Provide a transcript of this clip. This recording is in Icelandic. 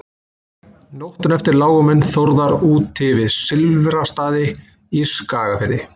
nóttina eftir lágu menn þórðar úti við silfrastaði í skagafirði